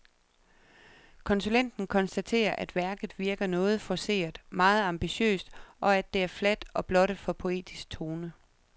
Konsulenten konstaterer, at værket virker noget forceret, meget ambitiøst, og at det er fladt og blottet for poetisk tone.